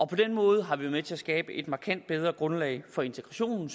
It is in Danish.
på den måde har vi været med til at skabe et markant bedre grundlag for integrationen